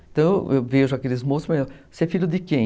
Então eu vejo aqueles moços e falo, você é filho de quem?